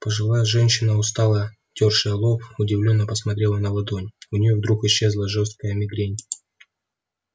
пожилая женщина устало тёршая лоб удивлённо посмотрела на ладонь у нее вдруг исчезла жестокая мигрень